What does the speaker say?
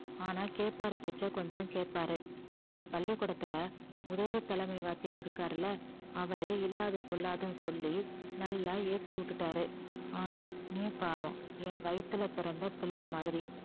ஆனா கேப்பாரு பேச்ச கொஞ்சம் கேப்பாரு உங்க பள்ளிக்கூடத்துல உதவி தலைமை வாத்தியார் இருக்காருல்ல அவரே இல்லாதது பொல்லாதுன்னு சொல்லி நல்லா ஏத்தி விட்டுட்டாரு ஆனா நீ பாவம் என் வயித்துல பிறந்த பிள்ளை மாதிரி